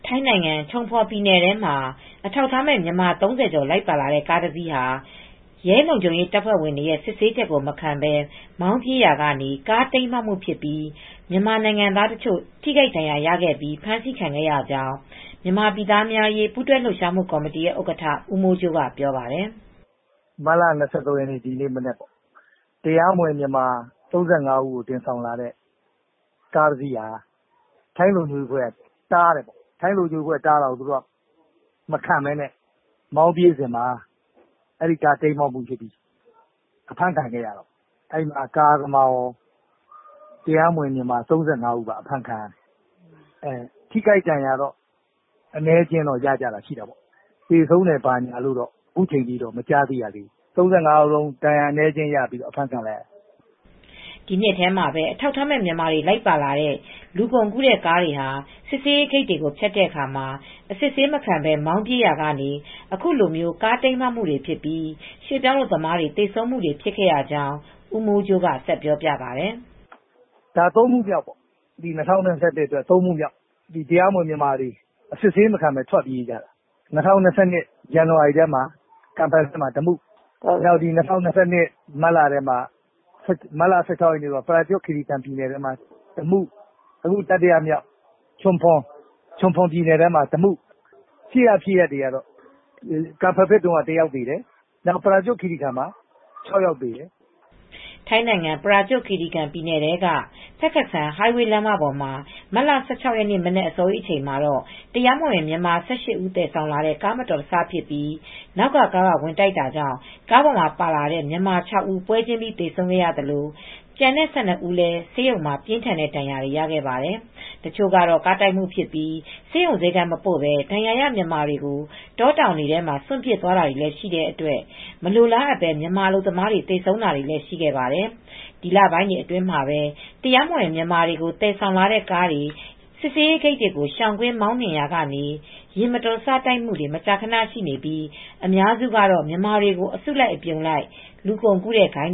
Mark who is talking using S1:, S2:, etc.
S1: ထိုင်းနိုင်ငံ ချုံဖော်ပြည်နယ်ထဲမှာ အထောက်အထားမဲ့ မြန်မာ၃၀ကျော်လိုက်ပါလာတဲ့ ကားတစီးဟာ ရဲလုံခြုံရေး တပ်ဖွဲ့ဝင်တွေရဲ့ စစ်ဆေးချက်ကိုမခံပဲ မောင်းပြေးရာကနေ ကားတိမ်းမှောက်မူ့ဖြစ်ပြီး မြန်မာနိုင်ငံသားတချို့ဒဏ်ရာရခဲ့ကာ ဖမ်းဆီးခံခဲ့ရကြောင်းမြန်မာပြည်သားများ အရေးပူးတွဲလှုပ်ရှားမူ့ကော်မတီရဲ့ဥက္ကဌ ဦးမိုးကြိုးကအခုလိုပြောပါတယ်။
S2: " မတ်လ၂၃ရက်နေ့ ဒီနေ့မနက်ပေါ့ ၊ တရားမဝင်မြန်မာ၃၅ဦးကို တင်ဆောင်လာတဲ့ ကားတစီးကို ထိုင်းလုံခြုံရေးတပ်ဖွဲ့တွေက တားဆီးတာကိုမခံပဲမောင်းပြေးတယ်။ အဲဒီကားက တိမ်းမှောက်မူ့ဖြစ်ပြီး အဖမ်းခံလိုက်ရတယ် ။ အဲဒီမှာကားသမားကော၊ တရားမဝင်မြန်မာ ၃၅ဦးကော ၊အဖမ်းခံရတယ် ။ သေဆုံးတယ်လို့တော့မကြားရဘူး။ ၃၅ဦးလုံးထိခိုက်ဒဏ်ရာ အနည်းအကျဉ်းရပြီး အဖမ်းခံလိုက်ရတယ်
S1: " ဒီနှစ်ထဲမှာပဲ အထောက်အထားမဲ့ မြန်မာတွေလိုက်ပါလာတဲ့ လူကုန်ကူးတဲ့ကားတွေဟာ စစ်ဆေးရေးဂိတ်တွေဖြတ်တဲ့အခါ အစစ်ဆေးမခံပဲမောင်းပြေးရာကနေ အခုလိုကားတိမ်းမှောက်မူတွေဖြစ်ပြီး ရွှေ့ပြောင်းအလုပ်သမားတွေ သေဆုံးတာတွေဖြစ်ခဲ့ကြောင်း ဦးမိုးကြိုးကဆက်ပြောပြပါတယ်။ "
S2: ၃မူမြောက်ပေါ့ ၊၂၀၂၂အတွက် ၃မူမြောက်ပါ၊တရားမဝင်မြန်မာတွေ အစစ်ဆေးမခံပဲ ထွက်ပြေးကြတာ ဒါက သုံးမူ့မြောက်ပေါ့ ၊ ၂၀၂၂ခုနှစ် ဇန်နဝါရီထဲက ကမ်ဖယ်ဖက်မှာ တမှု၊ ၂၀၂၂ မတ်လထဲမှာပဲ ပရာကျွတ်ခီရီကန်ပြည်နယ်ထဲမှာတမှု ၊ အခုချုံဖော်ပြည်နယ်ထဲမှာ ရှေ့ကဖြစ်ရပ်တွေမှာတော့ ကမ်ဖယ်ဖက်မှ ာတယောက်သေတယ်။ ပရာကျွတ်ခီရီကန်မှာ ၆ယောက်သေတယ်
S1: " ထိုင်းနိုင်ငံ ပရာကျွတ်ခီရီကန်ပြည်နယ် ထဲက Phetkasem highway လမ်းမပေါ်မှာ မတ်လ၁၆ ရက်နေ့မနက် အစောကြီးအချိန်မှာ တရားမဝင်မြန်မာ၁၈ဦးသယ်ဆောင်လာတဲ့ ကားမတော်တဆဖြစ်ပြီး နောက်ကားက ဝင်တိုက်တာကြောင့် ကားပေါ်မှာပါလာတဲ့မြန်မာ ၆ဦးပွဲချင်းပြီးသေဆုံးခဲ့သလို ကျန်တဲ့၁၂ဦးလည်းဆေးရုံမှာ ပင်ထန်းတဲ့ဒဏ်ရာတွေရခဲ့ပါတယ် တချို့ကတော့ကားတိုက်မူဖြစ်ပြီး ဆေးရုံဆေးခန်းမပို့ပဲ ဒဏ်ရာရ မြန်မာတွေကို တောတောင်တွေထဲစွန့်ပစ်သွားတာတွေလည်းရှိတဲ့အတွက် မလိုလားအပ်ပဲမြန်မာအလုပ်သမားတွေသေဆုံးတာတွေလည်းရှိခဲ့ပါတယ်။ ဒီလပိုင်းတွေအတွင်းမှာပဲ တရားမဝင်မြန်မာတွေကို သယ်ဆောင်လာတဲ့ကားတွေဟာ စစ်ဆေးရေးဂိတ်တွေကို ရှောင်ပြီးမောင်းနှင်ရာကနေ ယာဉ်မတော်တဆတိုက်မူတွေ မကြာခနရှိနေပြီး အများစုကတော့မြန်မာတွေကိုအစုလိုက်အပြုံလိုက် လူကုန်ကူးတဲ့ဂိုဏ်း